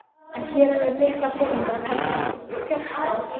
En hér er um mikla peninga að tefla, fjársjóð!